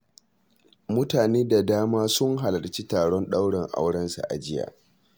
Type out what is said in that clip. Mutane da dama sun halarci taron ɗaurin aurensa a jiya